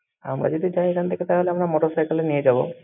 আমরা যদি চাই এখান থেকে তাহলে আমরা motorcycle ও নিয়ে যাবো